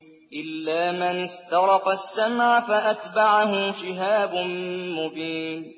إِلَّا مَنِ اسْتَرَقَ السَّمْعَ فَأَتْبَعَهُ شِهَابٌ مُّبِينٌ